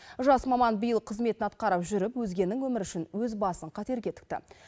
жас маман биыл қызметін атқарып жүріп өзгенің өмірі үшін өз басын қатерге тікті